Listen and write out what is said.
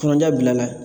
Kuranjan bilala